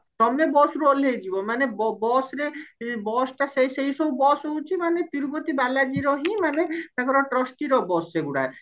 ତମେ busରୁ ଓହ୍ଲେଇ ଯିବ ମାନେ ବ busରେ busଟା ସେଇ ସବୁ bus ହଉଚି ମାନେ ତିରୁପତି ବାଲାଜୀରହିଁ ମାନେ ତାଙ୍କର trusty ର bus ସେଗୁଡା